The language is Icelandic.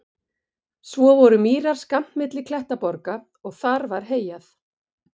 Svo voru mýrar skammt frá milli klettaborga og þar var heyjað.